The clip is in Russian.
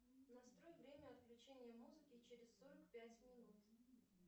настрой время отключения музыки через сорок пять минут